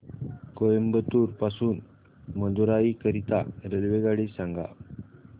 कोइंबतूर पासून मदुराई करीता रेल्वेगाडी सांगा